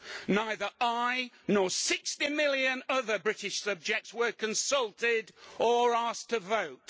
Neither I nor 60 million other British subjects were consulted or asked to vote.